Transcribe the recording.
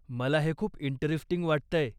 मला हे खूप इंटरेस्टिंग वाटतंय.